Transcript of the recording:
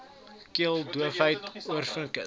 keel doofheid oorinfeksies